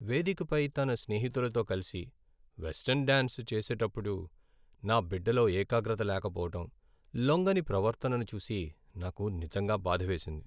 వేదికపై తన స్నేహితులతో కలిసి వెస్టర్న్ డాన్స్ చేసేటప్పుడు నా బిడ్డలో ఏకాగ్రత లేకపోవడం, లొంగని ప్రవర్తనను చూసి నాకు నిజంగా బాధ వేసింది.